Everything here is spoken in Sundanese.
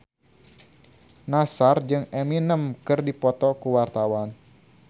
Nassar jeung Eminem keur dipoto ku wartawan